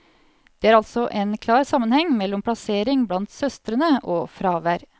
Det er altså en klar sammenheng mellom plassering blant søstrene og fravær.